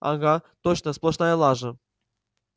ага точно сплошная лажа